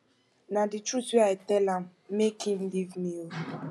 na the truth wey i tell am make him leave me oo